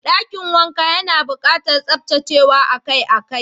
Dakin wankan yana bukatar tsaftacewa akai-akai.